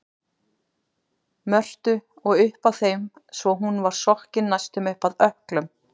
Mörtu og upp að þeim svo hún var sokkin næstum upp að ökklum.